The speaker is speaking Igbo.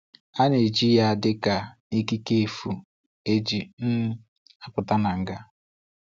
A na-eji ya dị ka ikike efu e ji um apụta na ngá.